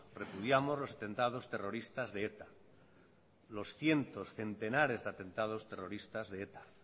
repudiamos los atentados terroristas de eta los cientos centenares de atentados de eta